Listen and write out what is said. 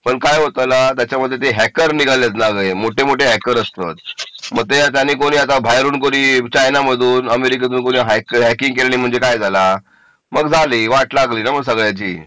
पण काय होतं ला त्याच्यामध्ये ते हॅकर निघालेत ना ग हे मोठे मोठे हॅकर व त्यांनी आता कोणी बाहेरून कोणी चायना मधून अमेरिकेतून कोणी हॅकिंग केली म्हणजे मग काय झाला मग झाले वाट लागली ना मग सगळ्याची